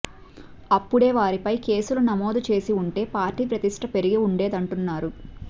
అప్పుడే వారిపై కేసులు నమోదు చేసి ఉంటే పార్టీ ప్రతిష్ఠ పెరిగి ఉండేదంటున్నారు